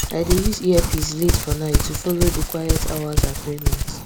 i dey use earpiece late for night to follow the quiet hours agreement